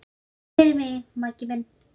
Takk fyrir mig, Maggi minn.